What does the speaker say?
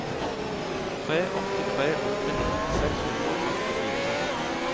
tre åtte tre åtte nitten seks hundre og førtifire